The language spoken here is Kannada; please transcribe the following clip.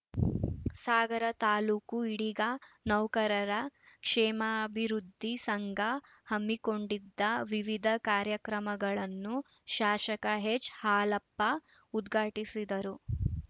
ಸಾಗರ ತಾಲೂಕು ಈಡಿಗ ನೌಕರರ ಕ್ಷೇಮಾಭಿವೃದ್ಧಿ ಸಂಘ ಹಮ್ಮಿಕೊಂಡಿದ್ದ ವಿವಿಧ ಕಾರ್ಯಕ್ರಮಗಳನ್ನು ಶಾಶಕ ಎಚ್‌ಹಾಲಪ್ಪ ಉದ್ಘಾಟಿಸಿದರು